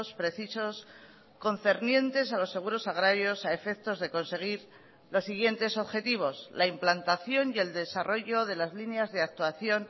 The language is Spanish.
precisos concernientes a los seguros agrarios a efectos de conseguir los siguientes objetivos la implantación y el desarrollo de las líneas de actuación